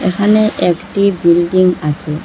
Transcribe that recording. এখানে একটি বিল্ডিং আচে ।